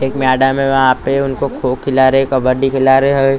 एक मैडम हैं वहां पे उनको कोक खिला रहे हैं कबड्डी खिला रहे हैं।